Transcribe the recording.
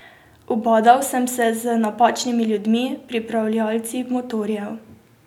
Ubadal sem se z napačnimi ljudmi, pripravljalci motorjev.